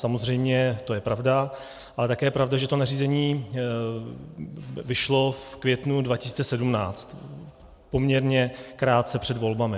Samozřejmě to je pravda, ale také je pravda, že to nařízení vyšlo v květnu 2017, poměrně krátce před volbami.